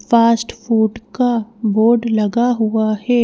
Fast food का board लगा हुआ है।